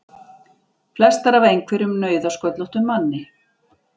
Flestar af einhverjum nauðasköllóttum manni!